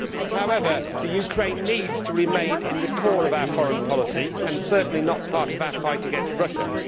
However, Ukraine needs to remain at the core of our foreign policy and certainly not be part of our fight against Russia.